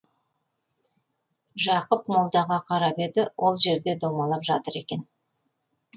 жақып молдаға қарап еді ол жерде домалап жатыр екен